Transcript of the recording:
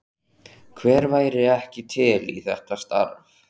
Hver væri ekki til í þetta starf?